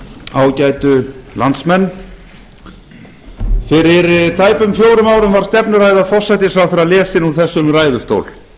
ágætu landsmenn fyrir tæpum fjórum árum var stefnuræða forsætisráðherra lesin úr þessum ræðustól